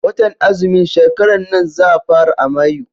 Watan azumin shekaran nan za fara a Mayu.